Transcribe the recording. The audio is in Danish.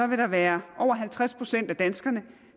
vil der være over halvtreds procent af danskerne